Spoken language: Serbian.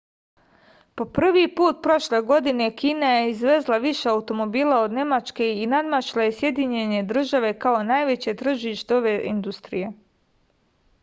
po prvi put prošle godine kina je izvezla više automobila od nemačke i nadmašila je sjedinjene države kao najveće tržište ove industrije